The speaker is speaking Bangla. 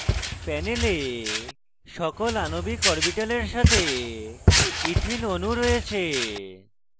প্যানেলে সকল আণবিক অরবিটালের সাথে ইথিন অণু রয়েছে